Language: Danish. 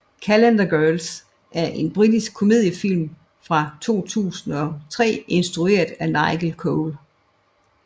Calendar Girls er en britisk komediefilm fra 2003 instrueret af Nigel Cole